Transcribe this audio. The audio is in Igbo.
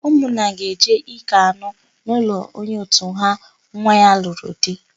Ụmụnna ga-eje íkè anụ n'ụlọ onye òtù ha nwa ya lụrụ di.